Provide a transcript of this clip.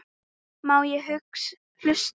Má ég hlusta?